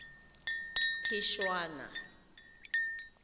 phešwana